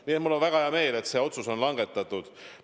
Nii et mul on väga hea meel, et see otsus on langetatud.